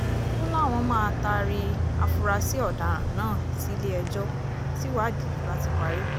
ó láwọn máa taari àfúráṣí ọ̀daràn náà sílẹ̀-ẹjọ́ tíwádìí bá ti parí